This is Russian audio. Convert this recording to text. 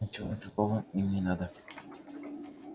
ничего другого им не надо